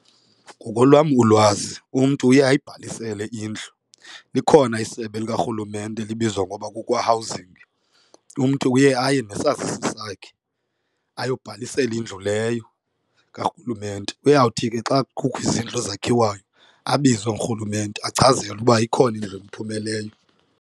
Ngokolwam ulwazi umntu uye ayibhalisele indlu likhona isebe likarhulumente elibizwa ngoba kukwa-Housing. Umntu uye aye nesazisi sakhe ayobhalisela indlu leyo karhulumente. Uyawuthi ke xa kukho izindlu ezakhiwayo abizwe ngurhulumente achazelwe uba ikhona indlu emphumeleyo.